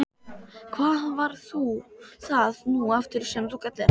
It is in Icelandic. Hvað var það nú aftur sem þú kallaðir hann?